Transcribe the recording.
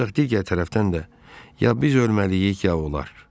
Ancaq digər tərəfdən də ya biz ölməliyik, ya onlar.